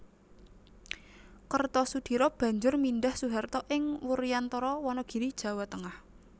Kertosudiro banjur mindhah Soeharto ing Wuryantara Wanagiri Jawa Tengah